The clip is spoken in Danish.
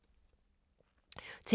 TV 2